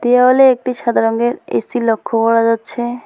দেওয়ালে একটি সাদা রঙের এ_সি লক্ষ করা যাচ্ছে।